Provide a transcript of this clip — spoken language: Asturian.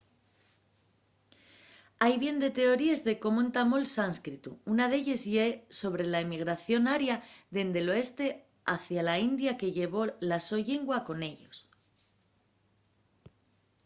hai bien de teoríes de cómo entamó’l sánscritu. una d’elles ye sobre la emigración aria dende l’oeste hacia la india que llevó la so llingua con ellos